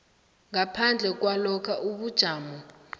ngaphandle kwalokha ubujamo